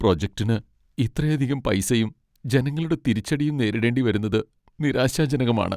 പ്രൊജക്റ്റിന് ഇത്രയധികം പൈസയും, ജനങ്ങളുടെ തിരിച്ചടിയും നേരിടേണ്ടി വരുന്നത് നിരാശാജനകമാണ്.